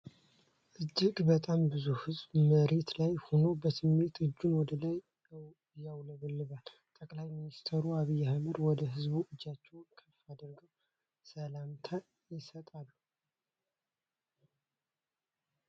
እጅግ በጣም ብዙ ህዝብ መሬት ላይ ሆኖ በስሜት እጁን ወደ ላይ ያውለበልባል። ጠቅላይ ሚስቴር አብይ አህመድም ወደ ህዝቡ እጃቸውን ከፍ አድርገው ሰላምታ ይሰጣሉ።